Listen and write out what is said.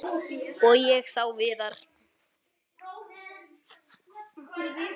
Og ég sá Viðar.